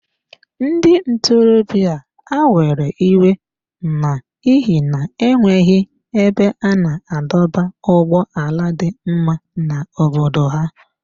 Ndị ntorobịa a were iwe n’ihi na e nweghị ebe a na-adọba ụgbọala dị mma n’obodo ha.